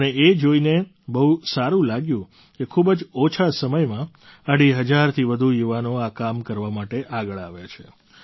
મને એ જોઈને બહુ સારું લાગ્યું કે ખૂબ જ ઓછા સમયમાં અઢી હજારથી વધુ યુવાનો આ કામ કરવા માટે આગળ આવ્યા છે